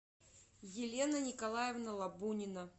елена николаевна лобунина